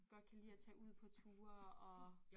Godt kan lide at tage ud på ture og